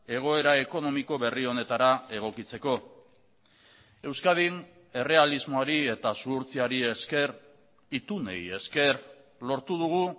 egoera ekonomiko berri honetara egokitzeko euskadin errealismoari eta zuhurtziari esker itunei esker lortu dugu